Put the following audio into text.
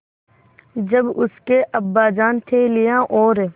जब उसके अब्बाजान थैलियाँ और